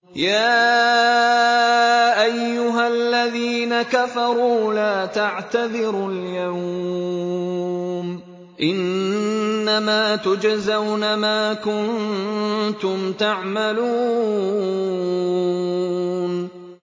يَا أَيُّهَا الَّذِينَ كَفَرُوا لَا تَعْتَذِرُوا الْيَوْمَ ۖ إِنَّمَا تُجْزَوْنَ مَا كُنتُمْ تَعْمَلُونَ